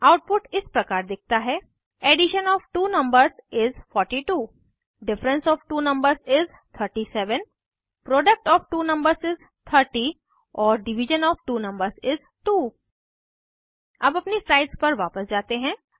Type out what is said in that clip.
output इस प्रकार दिखता है addition of two numbers is 42 difference of two numbers is 37 product of two numbers is 30 और division of two numbers is 2 अब अपनी स्लाइड्स पर वापस जाते हैं